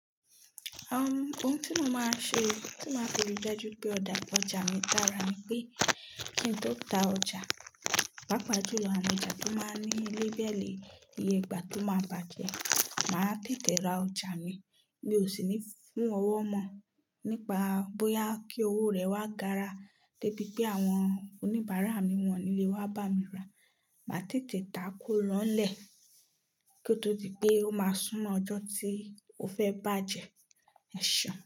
Uhm, ohun tí mo máa ṣe, tí máa fi ri dájú pé ọ̀dà ọjà mi dára nipé kí n tó ta ọjà, pàápàá jù lọ awọn ọjà tó máa ń ní lebẹẹli iye gba tó máa bàjẹ́. Màá tètè ra ọjà mi mí ò sì ni fún ọwọ́ mọ nípa bóyá kí owó rẹ̀ wá gara débi pé àwọn oníbàárà mi wọ́n nílé wa bami ra. Màá tètè tá kó ránlẹ̀ kí ó tó di pé ó máa súnmọ́ ọjọ́ tí ó fẹ́ bàjẹ́. Ẹ ṣeun.